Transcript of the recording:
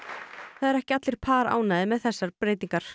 það eru ekki allir par ánægðir með þessar breytingar